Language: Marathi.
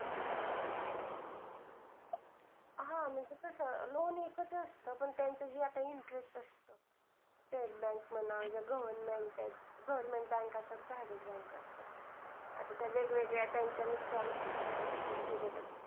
हा म्हणजे कसं, loan हे कसं असतं. पण त्याचं जे आता interest असतं. state bank म्हणा government आहेत, government असतात त्या बाहेरील bank असतात. आता त्या वेगवेगळ्या त्यांच्या